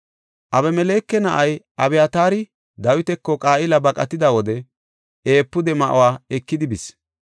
Abimeleke na7ay Abyataari Dawitako Qa7ila baqatida wode efuude ma7uwa ekidi bis.